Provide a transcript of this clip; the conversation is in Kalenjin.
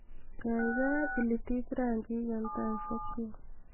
gaigai ilitit rangiik en taisiekyuk